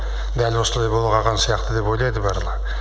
дәл осылай бола қалған сияқты деп ойлайды барлығы